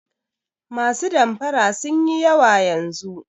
Masu damfara sun yi yawa yanzu.